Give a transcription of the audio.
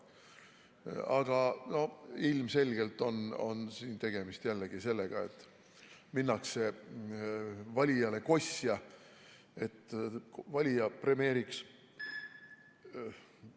Aga ilmselgelt on siin tegemist sellega, et minnakse valijale kosja, et valija premeeriks ...